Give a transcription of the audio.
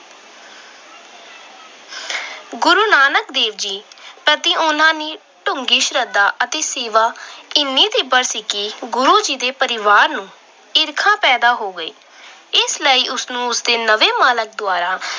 ਨਾਨਕ ਦੇਵ ਜੀ ਪ੍ਰਤੀ ਉਹਨਾਂ ਦੀ ਡੂੰਘੀ ਸ਼ਰਧਾ ਅਤੇ ਸੇਵਾ ਇੰਨੀ ਤੀਬਰ ਸੀ ਕਿ ਗੁਰੂ ਜੀ ਦੇ ਪਰਿਵਾਰ ਨੂੰ ਈਰਖਾ ਪੈਦਾ ਹੋ ਗਈ। ਇਸ ਲਈ ਉਸ ਨੂੰ ਉਸਦੇ ਨਵੇਂ ਮਾਲਕ ਦੁਆਰਾ